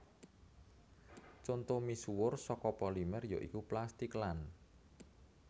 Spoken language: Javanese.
Conto misuwur saka polimer ya iku plastik lan